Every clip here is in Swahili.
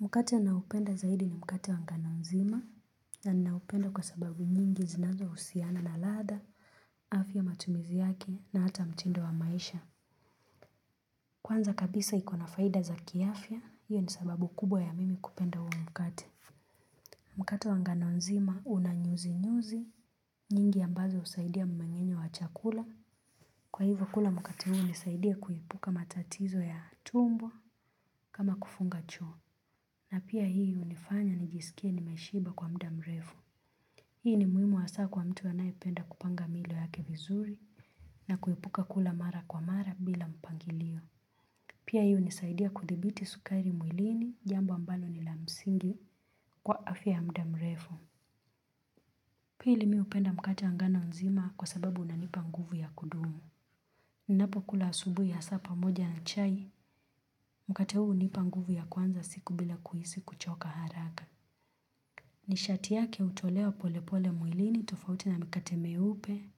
Mkate naupenda zaidi ni mkate wa ngano nzima na naupenda kwa sababu nyingi zinazohusiana na ladha, afya, matumizi yake na hata mtindo wa maisha. Kwanza kabisa iko na faida za kiafya, hiyo ni sababu kubwa ya mimi kupenda huu mkate. Mkate wa ngano nzima una nyuzi-nyuzi, nyingi ambazo husaidia mmemenyo wa chakula. Kwa hivyo kula mkate huu hunisaidia kuepuka matatizo ya tumbo kama kufunga choo na pia hii hunifanya nijisikie nimeshiba kwa muda mrefu. Hii ni muhimu asa kwa mtu anayependa kupanga milo yake vizuri na kuepuka kula mara kwa mara bila mpangilio. Pia hii unisaidia kudhibiti sukari mwilini jambo ambalo ni la msingi kwa afya ya muda mrefu. Pili mi hupenda mkate wa ngano nzima kwa sababu unanipa nguvu ya kudumu. Napo kula asubui asa pamoja na chai, mkate huu hunipa nguvu ya kuanza siku bila kuhisi kuchoka haraka. Nishati yake hutolewa pole pole mwilini tofauti na mikate myeupe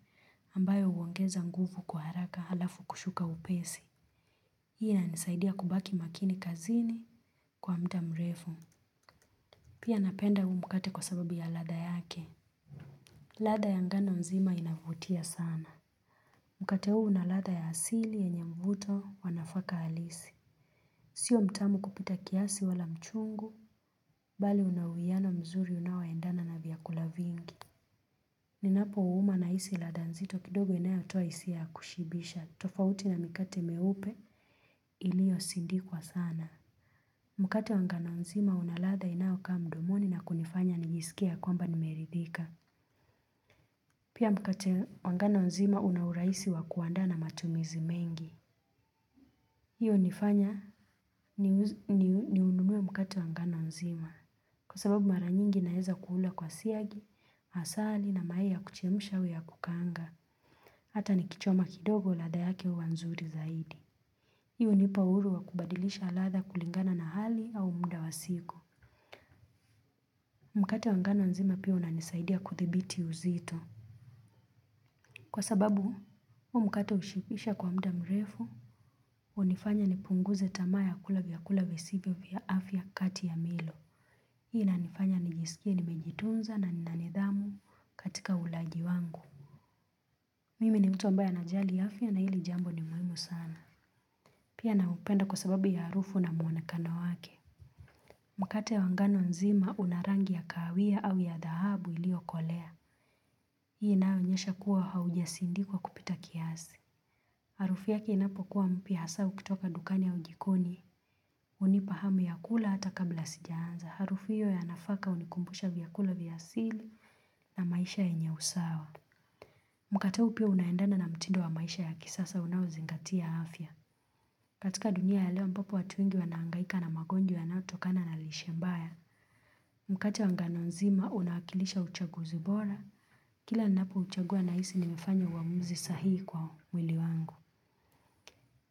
ambayo uongeza nguvu kwa haraka alafu kushuka upesi. Hii inanisaidia kubaki makini kazini kwa muda mrefu. Pia napenda huu mkate kwa sababu ya ladha yake. Ladha ya ngano nzima inavutia sana. Mkate huu una ladha ya asili yenye mvuto wa nafaka halisi. Sio mtamu kupita kiasi wala mchungu, bali unawiiano mzuri unaoendana na vyakula vingi. Ninapo uuma nahisi ladha nzito kidogo inayatoa hisia ya kushibisha, tofauti na mikate myeupe iliosindikwa sana. Mkate wa ngano nzima unaladha inaokaa mdomoni na kunifanya nijisikie kwamba nimeridhika. Pia mkate wa nganonzima una urahisi wa kuandaa na matumizi mengi. Hiyo unifanya ninunue mkate wa nganaonzima. Kwa sababu mara nyingi naeza kuula kwa siagi, asali na mayai ya kuchemsha au ya kukaanga. Hata nikichoma kidogo ladha yake huwa nzuri zaidi hiyo unipa uhuru wa kubadilisha latha kulingana na hali au muda wa siku Mkate wa nganonzima pia unanisaidia kuthibiti uzito Kwa sababu huu mkate ushibisha kwa mda mrefu unifanya nipunguze tamaa ya kula vyakula visivyo vya afya kati ya milo Hii inanifanya nijisikie nimejitunza na nina nidhamu katika ulaji wangu Mimi ni mtu ambaye anajali afya na hili jambo ni muhimu sana Pia naupenda kwa sababu ya harufu na muonekano wake. Mkate wanganonzima una rangi ya kaawia au ya dhahabu ilio kolea. Hii inaonyesha kuwa haujasindikwa kupita kiasi. Harufu yake inapokuwa mpya asa ukitoka dukani au jikoni. Unipa hamu ya kula hata kabla sijaanza. Harufu hiyo ya nafaka hunikumbusha vyakula vya asili na maisha yenye usawa. Mkate huu pia unaendana na mtindo wa maisha ya kisasa unaozingatia afya. Katika dunia ya leo ambapo watu wengi wanaangaika na magonjwa na yanaotokana na lishe mbaya Mkate wa nganonzima unaakilisha uchaguzi bora Kila ninapouchagua nahisi nimefanya uamuzi sahii kwa mwili wangu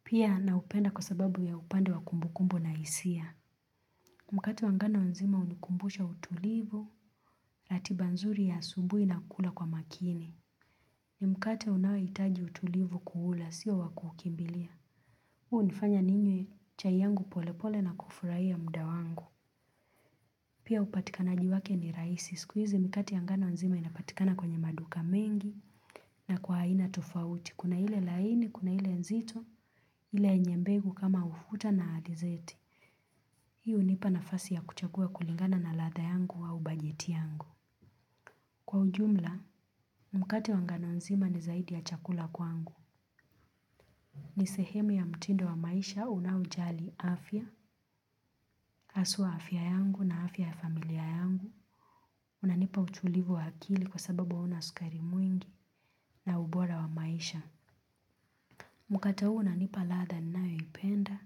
Pia naupenda kwa sababu ya upande wa kumbukumbu na hisia Mkate wangano nzima hunikumbusha utulivu, ratiba nzuri ya asubui na kula kwa makini ni mkate unaohitaji utulivu kuula sio kuukimbilia. Hunifanya ninywe chai yangu polepole na kufurahia mda wangu. Pia hupatikanaji wake ni rahisi. Siku hizi mikate ya nganonzima inapatikana kwenye maduka mengi na kwa aina tofauti. Kuna ile laini, kuna ile nzito, ile yenye mbegu kama ufuta na adizeti. Hii hunipa nafasi ya kuchagua kulingana na latha yangu au bajeti yangu. Kwa ujumla, mkate wa nganonzima ni zaidi ya chakula kwangu. Ni sehemu ya mtindo wa maisha unaojali afya, aswa afya yangu na afya ya familia yangu, unanipa utulivu wa akili kwa sababu wa hauna sukari mwingi na ubora wa maisha Mkate huu unanipa latha ninayopenda,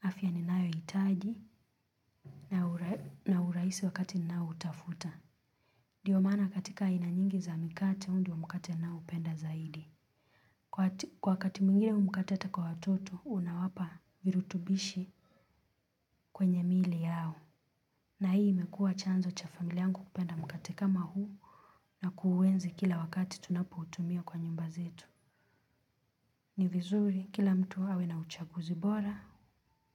afya ninayoitaji na uraisi wakati ninaoutafuta ndiyo maana katika aina nyingi za mikate huu ndio mkate ninaoupenda zaidi. Kwa wakati mwingine mkate ata kwa watoto unawapa virutubishi kwenye mili yao na hii imekuwa chanzo cha familia yangu kupenda mkate kama huu na kuuenzi kila wakati tunapoutumia kwa nyumba zetu. Ni vizuri kila mtu awe na uchaguzi bora,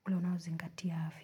unao zingatia afya.